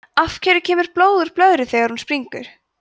af hverju kemur blóð úr blöðru þegar hún springur